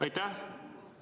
Aitäh!